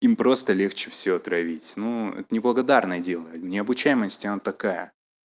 им просто легче всего травить ну это неблагодарное дело необучаемость она такая